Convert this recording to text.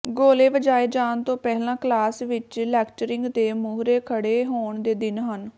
ਗੋਲੇ ਵਜਾਏ ਜਾਣ ਤੋਂ ਪਹਿਲਾਂ ਕਲਾਸ ਵਿਚ ਲੈਕਚਰਿੰਗ ਦੇ ਮੂਹਰੇ ਖੜੇ ਹੋਣ ਦੇ ਦਿਨ ਹਨ